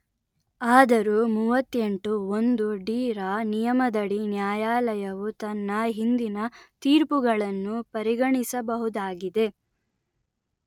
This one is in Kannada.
ಆದರೂ ಮೂವತ್ತೆಂಟು ಒಂದು ಡಿ_letter-en ರ ನಿಯಮದಡಿ ನ್ಯಾಯಾಲಯವು ತನ್ನ ಹಿಂದಿನ ತೀರ್ಪುಗಳನ್ನು ಪರಿಗಣಿಸಬಹುದಾಗಿದೆ